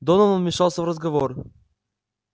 донован вмешался в разговор